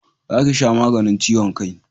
Za ki sha maganin ciwon kai